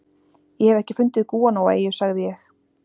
Ég hef ekki fundið gúanóeyju, sagði ég.